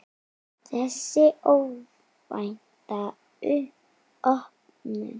Þessi óvænta opnun